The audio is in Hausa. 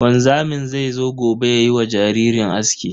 Wanzamin zai zo gobe yayi wa jaririn aski.